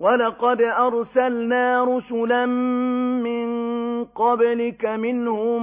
وَلَقَدْ أَرْسَلْنَا رُسُلًا مِّن قَبْلِكَ مِنْهُم